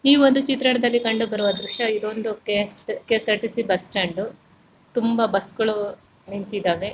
ಈ ಒಂದು ಚಿತ್ರದಲ್ಲಿ ಕಂಡು ಬರುವ ದೃಶ್ಯವಿದು ಒಂದು ಕೆ.ಎಸ್. ಕೆ.ಎಸ್.ಆರ್ಟಿ.ಸಿ ಬಸ್ ಸ್ಟಾಂಡು ತುಂಬಾ ಬಸ್ಗ ಳು ನಿಂತಿದ್ದಾವೆ .